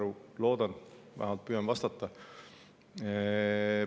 Loodan,, ja vähemalt püüan vastata.